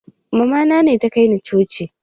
Mamana ne ta kai ni coci